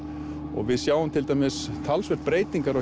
og við sjáum til dæmis talsverðar breytingar á